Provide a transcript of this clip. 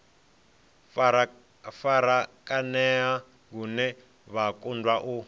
farakanea lune vha kundwa u